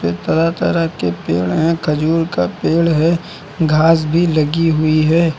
पे तरह-तरह के पेड़ हैं खजूर का पेड़ है घास भी लगी हुई है।